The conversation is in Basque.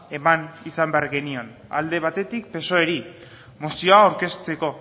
eman izan behar genion alde batetik psoeri mozioa aurkezteko